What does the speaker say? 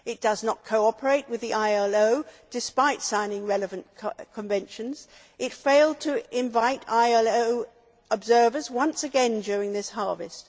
It does not cooperate with the ILO, despite signing relevant conventions, and it failed to invite ILO observers once again during this harvest.